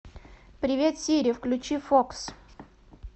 привет сири включи фокс